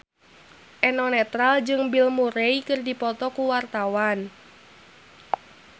Eno Netral jeung Bill Murray keur dipoto ku wartawan